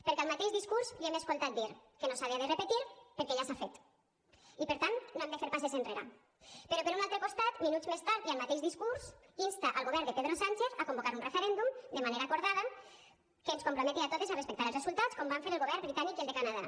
perquè al mateix discurs li hem escoltat dir que no s’havia de repetir perquè ja s’ha fet i per tant no hem de fer passes enrere però per un altre costat minuts més tard i al mateix discurs insta el govern de pedro sánchez a convocar un referèndum de manera acordada que ens comprometi a totes a respectar els resultats com van fer els governs britànic i el de canadà